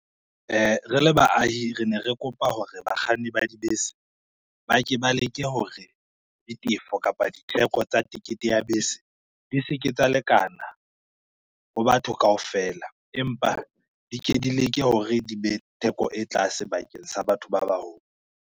Re le baahi re ne re kopa hore, bakganni ba dibese ba ke ba leke hore ditefo kapa ditheko tsa tekete ya bese di se ke tsa lekana ho batho kaofela, empa di ke di leke hore di be theko e tlase bakeng sa batho ba baholo.